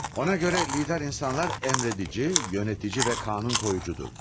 Ona görə lider insanlar əmr edici, yönetici və qanun qoyucudur.